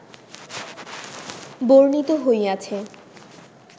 বর্ণিত হইয়াছে